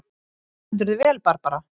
Þú stendur þig vel, Barbara!